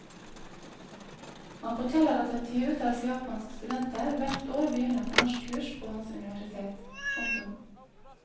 Han forteller at et tyvetalls japanske studenter hvert år begynner på norskkurs på hans universitet. punktum